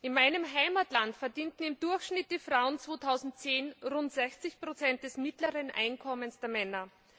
In meinem Heimatland verdienten im Durchschnitt die Frauen 2010 rund 60 des mittleren Einkommens der Männer.